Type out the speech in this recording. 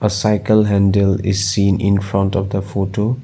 cycle handle is seen in front of the photo.